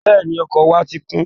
Bẹ́ẹ̀ni, ọkọ̀ wa ti kún